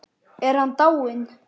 Er hann dáinn?